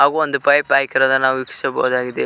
ಹಾಗು ಒಂದು ಪೈಪ ಹಾಕಿರದ ನಾವು ವಿಕ್ಶಿಸಬಹುದಾಗಿದೆ.